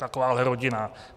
Takováhle rodina.